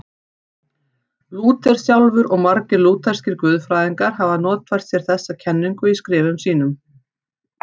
Lúther sjálfur og margir lútherskir guðfræðingar hafa notfært sér þessa kenningu í skrifum sínum.